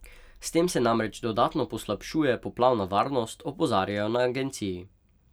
S tem se namreč dodatno poslabšuje poplavna varnost, opozarjajo na agenciji.